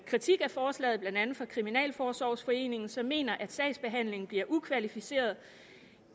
kritik af forslaget blandt andet fra kriminalforsorgsforeningen som mener at sagsbehandlingen bliver ukvalificeret